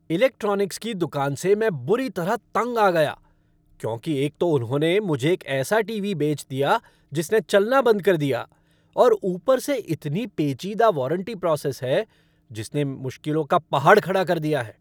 Electronics की दुकान से मैं बुरी तरह तंग आ गया क्योंकि एक तो उन्होंने मुझे एक ऐसा टीवी बेच दिया जिसने चलना बंद कर दिया और ऊपर से इतनी पेचीदा वारंटी प्रोसेस है जिसने मुश्किलों का पहाड़ खड़ा कर दिया है।